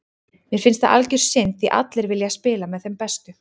Mér finnst það algjör synd því allir vilja spila með þeim bestu.